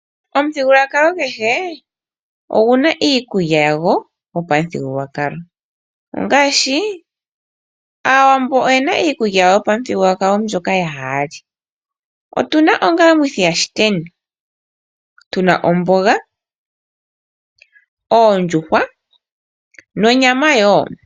Omuthigululwakalo kehe oguna iikulya yago yopamuthigululwakalo ,ongaashi Aawambo oyena iikulya yawo yopamuthigulwakalo mbyoka haa li otuna ongalamwithiyashiteni tuna omboga ,oondjuhwa nonyama woo.